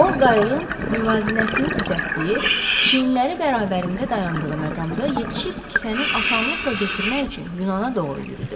O qayığın müvazinətini düzəltdiyi, çiynləri bərabərində dayandığı məqamda yetişib kisəni asanlıqla götürmək üçün Yunana doğru yürüdü.